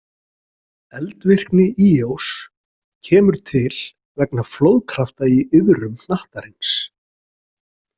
Eldvirkni Íós kemur til vegna flóðkrafta í iðrum hnattarins.